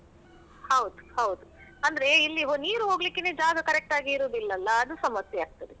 ಹೌದು ಹೌದು. ಅಂದ್ರೆ ಇಲ್ಲಿ ನೀರು ಹೋಗ್ಲಿಕ್ಕೆನೆ ಜಾಗ correct ಆಗಿ ಇರುದಿಲ್ಲಲ್ಲ ಅದು ಸಮಸ್ಯೆ ಆಗ್ತದೆ.